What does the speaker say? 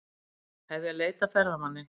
Hefja leit að ferðamanni